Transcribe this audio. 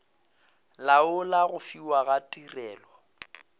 laola go fiwa ga tirelo